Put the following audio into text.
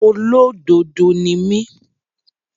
Olódodo ni mí.